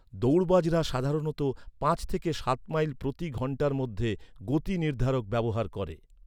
দৌড়বাজরা সাধারণত পাঁচ থেকে সাত মাইল প্রতি ঘণ্টার মধ্যে গতি নির্ধারক ব্যবহার করে।